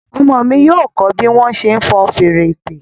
Ọmọ mí yíò kọ bí wón ṣe fọ́n Fèèrè ìpè.